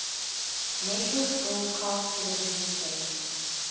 network broadcast television stations